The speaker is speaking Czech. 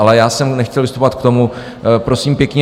Ale já jsem nechtěl vystupovat k tomu, prosím pěkně.